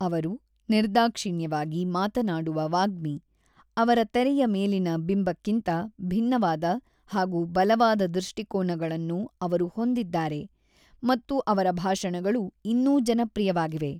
ಅವರು ನಿರ್ದಾಕ್ಷಿಣ್ಯವಾಗಿ ಮಾತನಾಡುವ ವಾಗ್ಮಿ, ಅವರ ತೆರೆಯ ಮೇಲಿನ ಬಿಂಬಕ್ಕಿಂತ ಭಿನ್ನವಾದ ಹಾಗು ಬಲವಾದ ದೃಷ್ಟಿಕೋನಗಳನ್ನು ಅವರು ಹೊಂದಿದ್ದಾರೆ ಮತ್ತು ಅವರ ಭಾಷಣಗಳು ಇನ್ನೂ ಜನಪ್ರಿಯವಾಗಿವೆ.